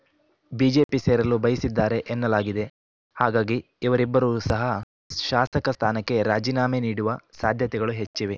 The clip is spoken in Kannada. ಬಿಜೆಪಿ ಸೇರಲು ಬಯಸಿದ್ದಾರೆ ಎನ್ನಲಾಗಿದೆ ಹಾಗಾಗಿ ಇವರಿಬ್ಬರು ಸಹ ಶಾಸಕ ಸ್ಥಾನಕ್ಕೆ ರಾಜೀನಾಮೆ ನೀಡುವ ಸಾಧ್ಯತೆಗಳು ಹೆಚ್ಚಿವೆ